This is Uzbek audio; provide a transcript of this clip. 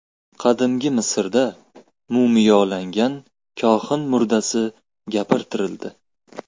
Qadimgi Misrda mumiyolangan kohin murdasi gapirtirildi .